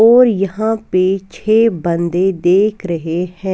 और यहाँ पे छे बंदे देख रहे हैं।